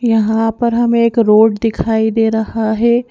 यहाँ पर हमें एक रोड दिखाई दे रहा है।